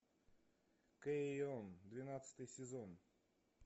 кэйон двенадцатый сезон